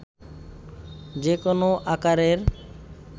যে কোনো আকারের